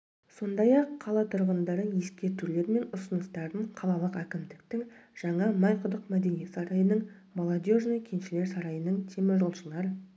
сондай-ақ қала тұрғындары ескертулер мен ұсыныстарын қалалық әкімдіктің жаңа майқұдық мәдениет сарайының молодежный кеншілер сарайының теміржолшылар